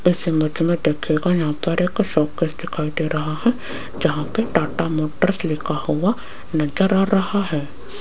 इस इमेज में देखिएगा यहां पर एक शोकेस दिखाई दे रहा है जहां पे टाटा मोटर्स लिखा हुआ नजर आ रहा है।